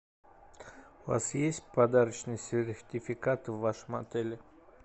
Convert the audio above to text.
у вас есть подарочный сертификат в вашем отеле